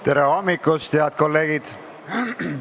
Tere hommikust, head kolleegid!